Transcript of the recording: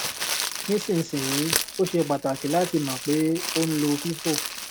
nísinsìnyí ó ṣe pàtàkì láti mọ pé o ń lo fifo